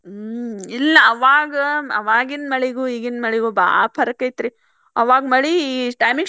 ಹ್ಮ್ ಇಲ್ಲ ಆವಾಗ ಆವಾಗಿನ ಮಳಿಗೂ ಈಗಿನ ಮಳಿಗೂ ಬಾಳ फ़र्क़ ಐತ್ರಿ. ಆವಾಗ್ ಮಳಿ ಈ time ಗೆ